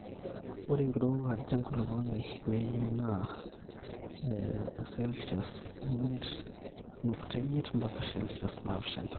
ore enkirowuaj enkulukuoni nayieuni na 5.5-7.0c